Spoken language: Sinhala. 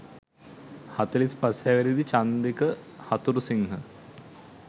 හතළිස් පස් හැවිරිදි චන්දික හතුරුසිංහ